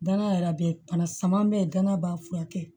Danaya yɛrɛ be bana sama be yen gana b'a furakɛ